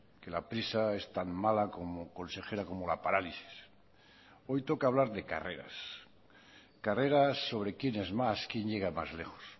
que la prisa es tan mala como consejera como la parálisis hoy toca hablar de carreras carreras sobre quién es más quién llega más lejos